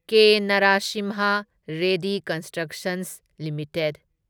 K. Narasimha Reddy constructions limited